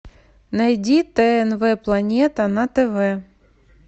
найди тнв планета на тв